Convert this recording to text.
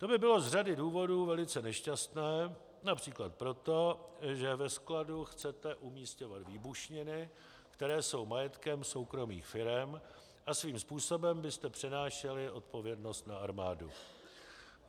To by bylo z řady důvodů velice nešťastné, například proto, že ve skladu chce umisťovat výbušniny, které jsou majetkem soukromých firem, a svým způsobem byste přenášeli odpovědnost na armádu.